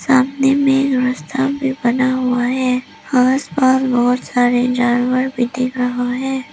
सामने में रास्ता भी बना हुआ है आस पास बहुत सारे जानवर भी दिख रहे हैं।